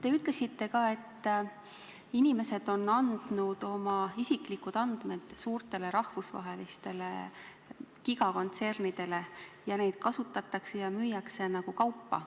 Te ütlesite, et inimesed on andnud oma isiklikud andmed rahvusvahelistele gigakontsernidele ja neid kasutatakse ja müüakse nagu kaupa.